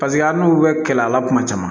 Paseke hali n'u bɛ kɛlɛ a la kuma caman